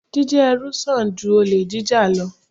Jíjẹ́ ẹrú sàn ju olè jíjà lọ.